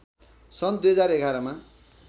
सन् २०११ मा